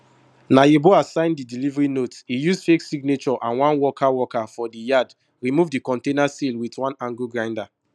na yeboah sign di delivery note e use fake signature and one worker worker for di yard remove di container seal wit one angle grinder